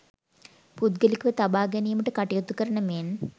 පුද්ගලිකව තබා ගැනීමට කටයුතු කරන මෙන්